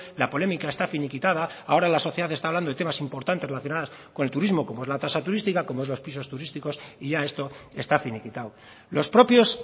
la polémica esta finiquitada ahora la sociedad está hablando de temas importantes relacionadas con el turismo como es la tasa turística como es los pisos turísticos y ya esto está finiquitado los propios